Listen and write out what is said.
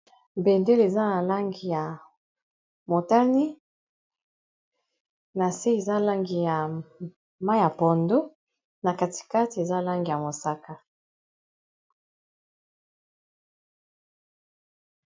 Bendele, eza na langi ya motani, na se eza langi ya mai ya pondo, na katikati eza langi ya mosaka.